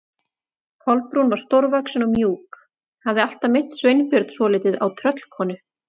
Kolbrún var stórvaxin og mjúk, hafði alltaf minnt Sveinbjörn svolítið á tröllkonu.